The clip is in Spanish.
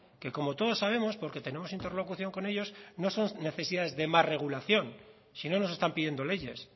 que como todos sabemos porque tenemos interlocución con ellos no son necesidades de más regulación si no nos están pidiendo leyes